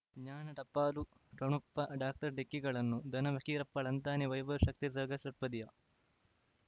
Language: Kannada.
ಜ್ಞಾನ ಟಪಾಲು ಠೊಣಪ ಡಾಕ್ಟರ್ ಢಿಕ್ಕಿ ಗಳನು ಧನ ಫಕೀರಪ್ಪ ಳಂತಾನೆ ವೈಭವ್ ಶಕ್ತಿ ಝಗಾ ಷಟ್ಪದಿಯ